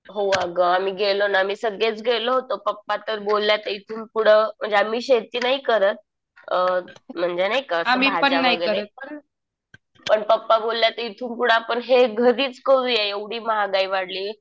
हो अगं. आम्ही गेलो ना. आम्ही सगळेच गेलो होतो. पप्पा तर बोलले आता इथून पुढं म्हणजे आम्ही शेती नाही करत म्हणजे नाही का असं भाज्या वगैरे. पण पप्पा बोलले आता इथून पुढे आपण हे घरीच करूया. एवढी महागाई वाढली.